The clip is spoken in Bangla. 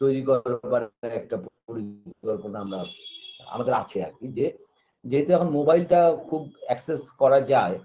তৈরি করা আমাদের পরিকল্পনা আমরা আমাদের আছে আরকি যে যেহেতু এখন mobile টা খুব access করা যায়